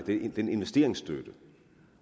den investeringsstøtte